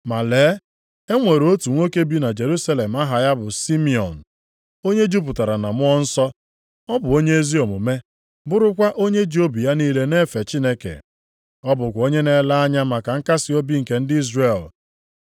Ma lee, e nwere otu nwoke bi na Jerusalem aha ya bụ Simiọn, onye jupụtara na Mmụọ Nsọ. Ọ bụ onye ezi omume bụrụkwa onye ji obi ya niile na-efe Chineke. Ọ bụkwa onye na-ele anya maka nkasiobi nke ndị Izrel.